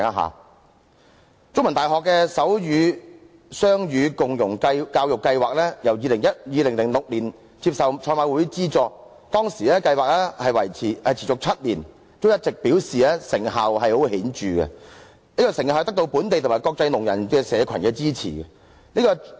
香港中文大學的手語雙語共融教育計劃於2006年接受賽馬會資助，計劃持續了7年，一直都表示成效十分顯著，並得到本地及國際聾人社群的支持。